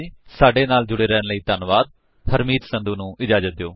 ਸਾਡੇ ਨਾਲ ਜੁੜੇ ਰਹਿਣ ਲਈ ਧੰਨਵਾਦ ਹਰਮੀਤ ਸੰਧੂ ਨੂੰ ਇਜਾਜਤ ਦਿਓ